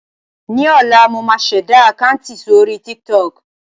Ní ọ̀la, mo máa ṣẹ̀dá àkáǹtì sórí Tik Tok.